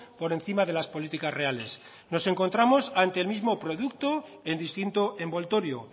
por encima de las políticas reales nos encontramos ante el mismo producto en distinto envoltorio